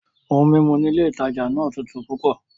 Oun mímu ní ilé ìtajà náà tútù púpọ̀